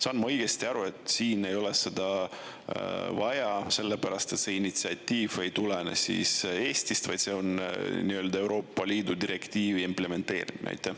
Saan ma õigesti aru, et siin ei ole seda vaja, sellepärast, et see initsiatiiv ei tulene Eestist, vaid see on nii-öelda Euroopa Liidu direktiivi implementeerimine?